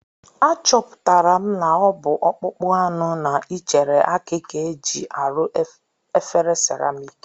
Achọpụtara m na ọ bụ ọkpụkpụ anụ na ichere aki ka e ji arụ efere seramik